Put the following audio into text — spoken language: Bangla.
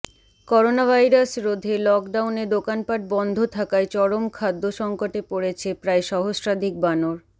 করোনাভাইরাস রোধে লকডাউনে দোকানপাট বন্ধ থাকায় চরম খাদ্য সংকটে পড়েছে প্রায় সহস্রাধিক বানর